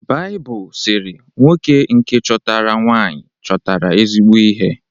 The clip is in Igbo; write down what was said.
Baịbụl sịrị: “Nwoke nke chọtara nwaanyị chọtara ezigbo ihe